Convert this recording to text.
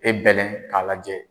E bɛlɛn k'a lajɛ